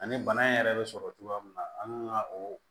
Ani bana in yɛrɛ bɛ sɔrɔ cogoya mun na an kan ka o